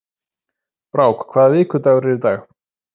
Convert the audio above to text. Brák, hvaða vikudagur er í dag?